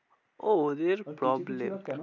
ও ওদের problem কেন?